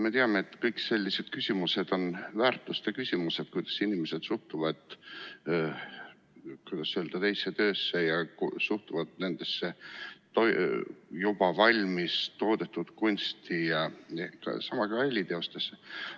Me teame, et kõik sellised küsimused on väärtusteküsimused, kuidas inimesed suhtuvad, kuidas öelda, teiste töösse ja juba valmis toodetud kunsti ja samuti heliteostesse.